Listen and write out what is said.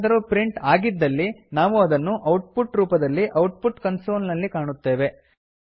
ಏನಾದರೂ ಪ್ರಿಂಟ್ ಆಗಿದ್ದಲ್ಲಿ ನಾವು ಅದನ್ನು ಔಟ್ಪುಟ್ ರೂಪದಲ್ಲಿ ಔಟ್ಪುಟ್ ಕನ್ಸೋಲ್ ನಲ್ಲಿ ಕಾಣುತ್ತೇವೆ